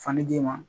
Fani d'i ma